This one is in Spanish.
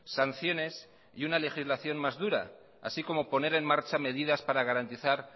sanciones y una legislación más dura así como poner en marcha medidas para garantizar